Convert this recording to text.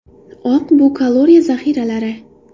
Oq bu kaloriya zaxiralari.